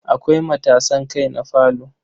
Akwai matasan kai na falo.